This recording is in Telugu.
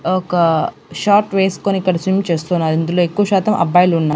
ఒక షార్ట్ వేస్కొని ఇక్కడ స్విమ్ చేస్తున్నారు ఇందులో ఎక్కువ శాతం అబ్బాయిలున్నా--